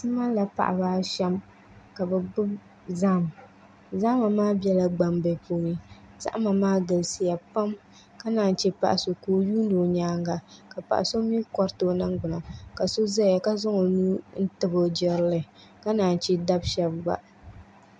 Ti malila paɣa shab ka bi gbubi zaham zahama maa biɛla gbambili puuni zahama maa galisiya pam ka naan yi chɛ paɣa so ka o yuundi o nyaanga ka paɣa so mii koriti o ningbuna ka paɣa so ʒɛya ka zaŋ o nuu tabi o jirili ka naan chɛ dabi shab gba